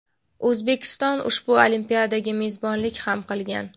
O‘zbekiston ushbu olimpiadaga mezbonlik ham qilgan.